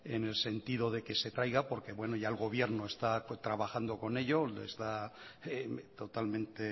en el sentido de que se traiga porque bueno ya el gobierno está trabajando con ello lo está totalmente